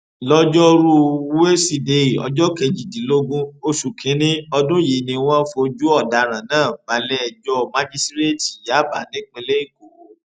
lọjọrùú wíṣídẹẹ ọjọ kejìdínlógún oṣù kínínní ọdún yìí ni wọn fojú ọdaràn náà balẹẹjọ májísíréètì yàbá nípìnlẹ èkó